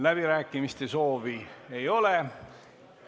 Läbirääkimiste soovi ei ole.